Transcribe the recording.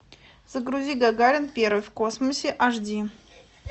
загрузи гагарин первый в космосе аш ди